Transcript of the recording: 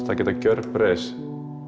þær geta gjörbreyst